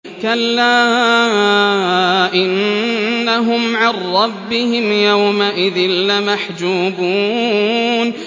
كَلَّا إِنَّهُمْ عَن رَّبِّهِمْ يَوْمَئِذٍ لَّمَحْجُوبُونَ